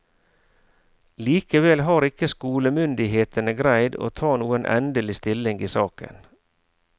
Likevel har ikke skolemyndighetene greid å ta noen endelig stilling i saken.